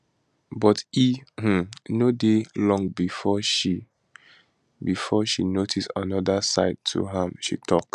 but e um no dey long before she before she notice anoda side to am she tok